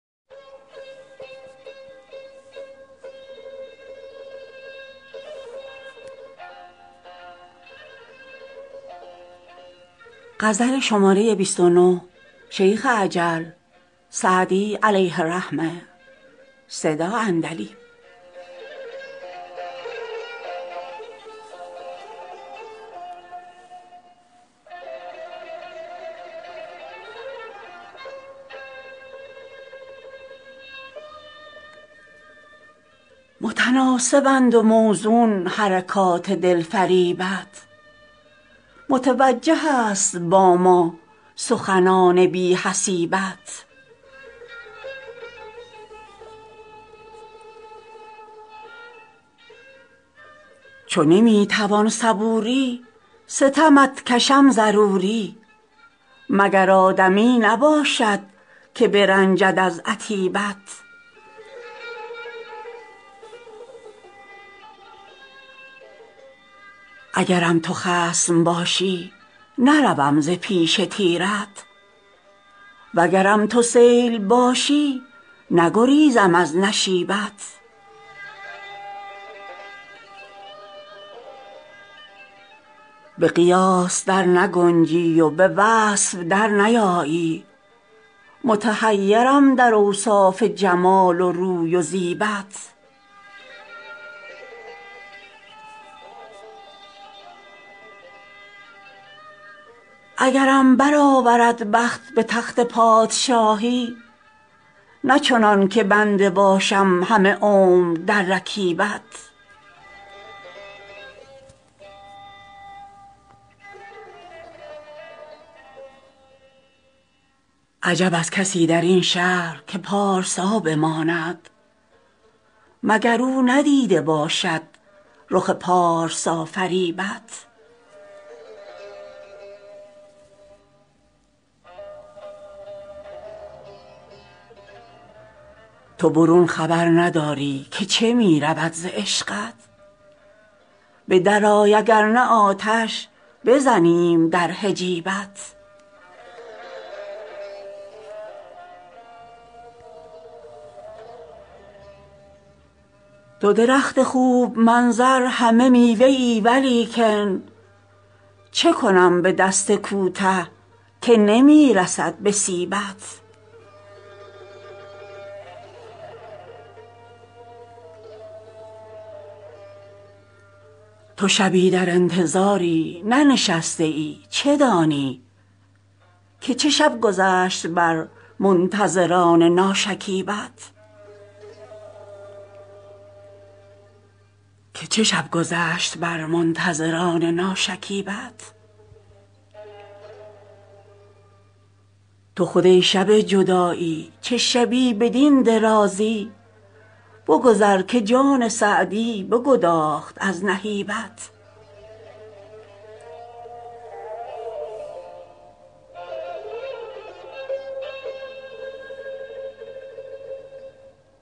متناسبند و موزون حرکات دلفریبت متوجه است با ما سخنان بی حسیبت چو نمی توان صبوری ستمت کشم ضروری مگر آدمی نباشد که برنجد از عتیبت اگرم تو خصم باشی نروم ز پیش تیرت وگرم تو سیل باشی نگریزم از نشیبت به قیاس در نگنجی و به وصف در نیایی متحیرم در اوصاف جمال و روی و زیبت اگرم برآورد بخت به تخت پادشاهی نه چنان که بنده باشم همه عمر در رکیبت عجب از کسی در این شهر که پارسا بماند مگر او ندیده باشد رخ پارسافریبت تو برون خبر نداری که چه می رود ز عشقت به درآی اگر نه آتش بزنیم در حجیبت تو درخت خوب منظر همه میوه ای ولیکن چه کنم به دست کوته که نمی رسد به سیبت تو شبی در انتظاری ننشسته ای چه دانی که چه شب گذشت بر منتظران ناشکیبت تو خود ای شب جدایی چه شبی بدین درازی بگذر که جان سعدی بگداخت از نهیبت